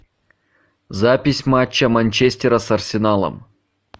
запись матча манчестера с арсеналом